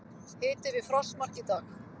Hiti við frostmark í dag